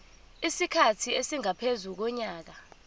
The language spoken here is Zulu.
isikhathi esingaphezu konyaka